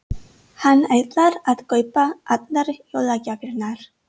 Hann ætlar að kaupa allar jólagjafirnar.